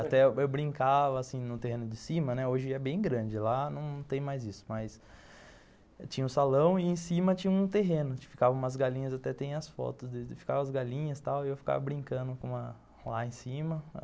Até eu brincava assim no terreno de cima, hoje é bem grande lá, não tem mais tinha isso, mas tinha um salão e em cima tinha um terreno, ficavam umas galinhas, até tem as fotos deles, ficavam as galinhas e eu ficava brincando com, lá em cima.